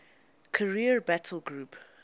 carrier battle group